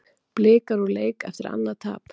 Blikar úr leik eftir annað tap